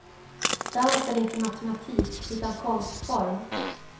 Dans är inte matematik utan konstform.